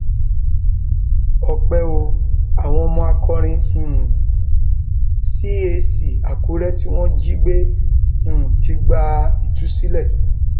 ọpẹ o àwọn ọmọ akọrin um cat akure tí wọn jí gbé um ti gba ìtúsílẹ